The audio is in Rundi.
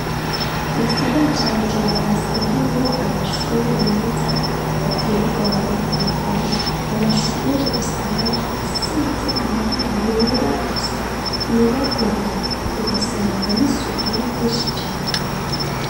mu gisagara ca bujumbura hasigaye hariho amashure meza ateye igomwe n'ukuri amashure usanga asize amabara yera gusa yera derere ugasanga n'isuku niryinshi cane